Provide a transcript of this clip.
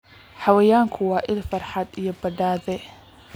Xayawaankani waa il farxad iyo badhaadhe.